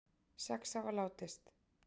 Sex hafa látist